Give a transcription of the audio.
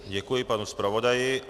Děkuji panu zpravodaji.